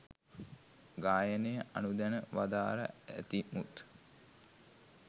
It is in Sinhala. ගායනය අනුදැන වදාරා ඇතිමුත්